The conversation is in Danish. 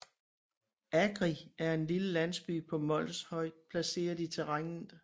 Agri er en lille landsby på Mols højt placeret i terrænet